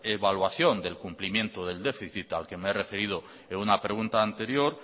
evaluación del cumplimiento del déficit al que me he referido en una pregunta anterior